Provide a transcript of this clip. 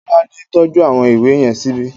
Tọ́lání tọ́jú àwọn ìwé yẹn síbi